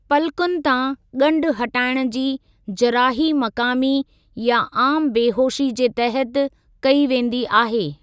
पलकुनि तां गंढु हटाइणु जी जराही मक़ामी या आम बेहोशी जे तहत कई वेंदी आहे।